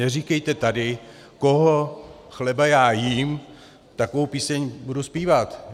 Neříkejte tady, koho chleba já jím, takovou píseň budu zpívat.